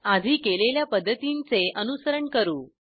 आधी केलेल्या पद्धतींचे अनुसरण करू